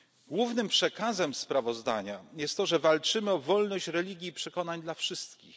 uwolnienia. Głównym przekazem sprawozdania jest to, że walczymy o wolność religii i przekonań dla